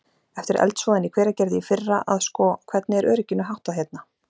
Eftir eldsvoðann í Hveragerði í fyrra að sko, hvernig er örygginu háttað hérna?